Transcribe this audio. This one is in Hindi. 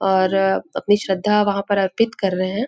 और अपनी श्रद्धा वहाँ पर अर्पित कर रहे है।